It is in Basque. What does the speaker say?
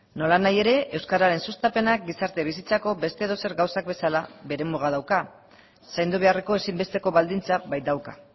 nolanahi ere euskararen sustapenak gizarte bizitzako beste edozer gauzak bezala bere muga dauka zaindu beharreko ezinbesteko baldintza baitauka